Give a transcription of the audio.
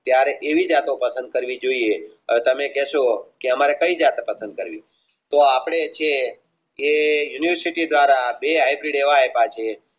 ત્યરે એવી જતો પસંદ કરવી જોયે હવે તમે કેશો અમરે કઈ જતો પસંદ કરવી તો અપને છે કે University દ્વારા